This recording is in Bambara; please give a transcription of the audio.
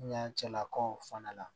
Ɲancɛlakaw fana la